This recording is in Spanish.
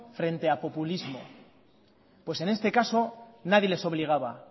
frente a populismo pues en este caso nadie les obligaba